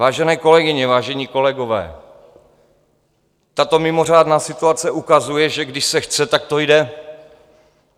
Vážené kolegyně, vážení kolegové, tato mimořádná situace ukazuje, že když se chce, tak to jde.